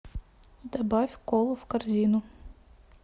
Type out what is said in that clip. добавь колу в корзину